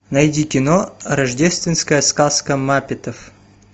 найди кино рождественская сказка маппетов